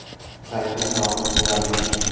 Zaytun yog‘i go‘zallik uchun.